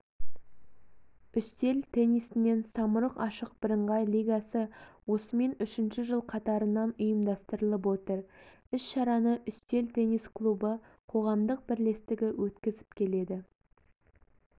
үстел теннисінен самұрық ашық бірыңғай лигасы осымен үшінші жыл қатарынан ұйымдастырылып отыр іс-шараны үстел теннис клубы қоғамдық бірлестігі өткізіп келеді